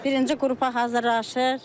Birinci qrupa hazırlaşır.